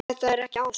Þetta er ekki ást.